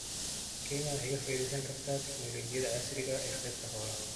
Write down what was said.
Kenya waxay ka faa'iidaysan kartaa tignoolajiyada casriga ah ee qaybta xoolaha.